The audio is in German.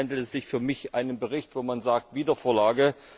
Aber hier handelt es sich für mich um einen Bericht, wo man sagt Wiedervorlage.